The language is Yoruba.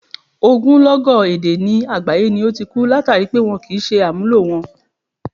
Ogúnlọ́gọ̀ èdè ni àgbáyé ni ó ti ku, látàri pé wọn kò ṣe àmúlò wọn.